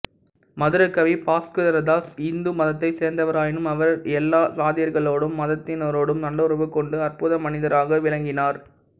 மதுரகவி பாஸ்கரதாஸ் இந்து மதத்தைச் சேர்ந்தவராயினும் அவர் எல்லா சாதியர்களோடும் மதத்தினரோடும் நல்லுறவு கொண்டு அற்புத மனிதராகத் விளங்கினார்